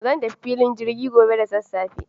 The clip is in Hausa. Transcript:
zan tafi filin jirgi gobe da sassafe.